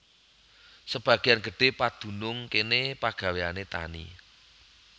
Sebagéyan gedhé padunung kéné pagawéyané tani